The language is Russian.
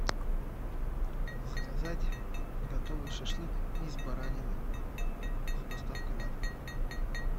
заказать готовый шашлык из баранины с доставкой на дом